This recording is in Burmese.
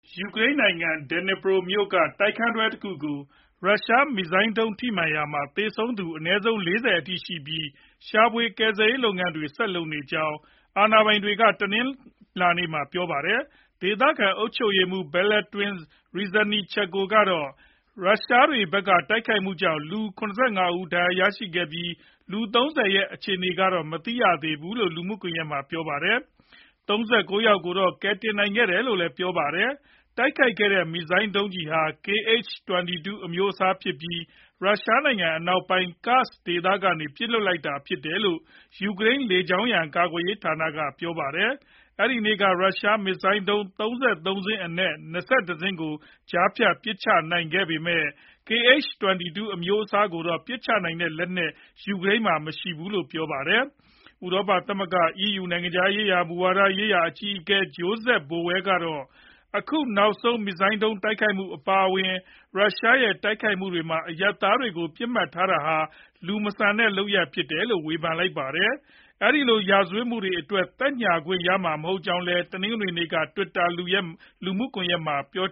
ယူကရိန်းနိုင်ငံ Dnipro မြို့က တိုက်ခန်းတွဲတခုကို ရုရှားမစ်ဇိုင်းဒုံးထိမှန်ရာက သေဆုံးသူအနည်းဆုံး ၄ဝ အထိရှိနေပြီး ရှာဖွေကယ်ဆယ်ရေးလုပ်ငန်းတွေ ဆက်လုပ်နေကြောင်း အာဏာပိုင်တွေက တနင်္လာနေ့မှာ ပြောပါတယ်။ ဒေသခံ အုပ်ချုပ်ရေးမှူး Valentyn Reznichenko ကတော့ ရုရှားတွေဘက်ကတိုက်ခိုက်မှုကြောင့် လူ ၇၅ ဦး ဒဏ်ရာရရှိခဲ့ပြီး လူ ၃ဝ ရဲ့အခြေအနေတွေကိုတော့ မသိရှိရသေးဘူးလို့ လူမူကွန်ယက်မှာ ပြောပါတယ်။ ၃၉ ယောက်ကိုတော့ ကယ်ဆယ်နိုင်ခဲ့တယ်လို့လည်း ပြောပါတယ်။ တိုက်ခိုက်ခဲ့တဲ့ မစ်ဇိုင်းဒုံးကျည်ဟာ Kh-22 အမျိုးအစားဖြစ်ပြီး ရုရှားနိုင်ငံအနောက်ပိုင်း Kursk ဒေသကနေ ပစ်လွှတ်ခဲ့တာဖြစ်တယ်လို့ ယူကရိန်း လေကြောင်းရန်ကာကွယ်ရေး ဌာနက ပြောပါတယ်။ အဲဒီနေ့က ရုရှားမစ်ဇိုင်းဒုံး ၃၃ စင်းအနက် ၂၁ စင်းကို ကြားဖြတ်ပစ်ချနိုင်ခဲ့ပေမယ့် Kh - 22 အမျိုးအစားကို ပစ်ချနိုင်တဲ့လက်နက်တော့ ယူကရိန်းမှာမရှိဘူးလို့ပြောပါတယ်။ ဥရောပသမဂ္ဂ (EU) နိုင်ငံခြား မူဝါဒရေးရာအကြီးအကဲ Josep Borrell ကတော့ အခုနောက်ဆုံး မစ်ဇိုင်းဒုံးတိုက်ခိုက်မှု အပါအဝင် ရုရှားရဲ့တိုက်ခိုက်မှုတွေမှာ အရပ်သားတွေကိုပစ်မှတ်ထားတာဟာ လူမဆန်တဲ့လုပ်ရပ်အဖြစ် ဝေဖန်ခဲ့ပါတယ်။ ဒီလိုရာဇဝတ်မှုတွေအတွက် သက်ညှာခွင့်ရမှာမဟုတ်ကြောင်းလည်း တနင်္ဂနွေနေ့က Twitter လူမှုကွန်ယက်မှာ ပြော